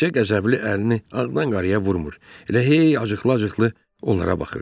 Təkcə qəzəbli əlini ağdan-qarıya vurmuru, elə hey acıqla-acıqla onlara baxırdı.